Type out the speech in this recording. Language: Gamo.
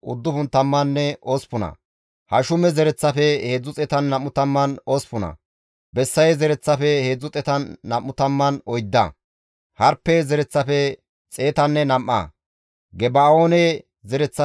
Kase istta aawati hayssafe kaalliza katamatan dizayti di7eteththafe simmida; Beeteliheemepenne Naxoofe dere asatappe 188;